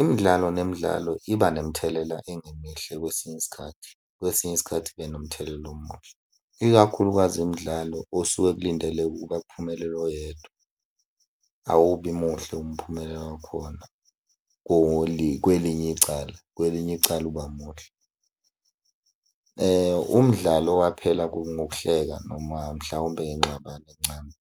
Imidlalo nemidlalo iba nemithelela engemihle kwesinye isikhathi, kwesinye isikhathi ibe nomthelela omuhle, ikakhulukazi imidlalo osuke kulindeleke ukuba kuphumelele oyedwa. Awubi muhle umphumela wakhona kwelinye icala, kwelinye icala uba muhle. Umdlalo waphela kungokuhleka noma mhlawumbe ingxabano ncamu.